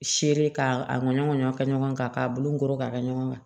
Seere k'a ɲɔgɔn ɲɔ kɛ ɲɔgɔn kan k'a bulukolo ka kɛ ɲɔgɔn kan